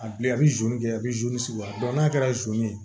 A bilen a bɛ kɛ a bɛ sigi wa n'a kɛra ye